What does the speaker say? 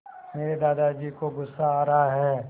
मेरे दादाजी को गुस्सा आ रहा है